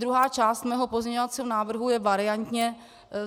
Druhá část mého pozměňovacího návrhu je variantní.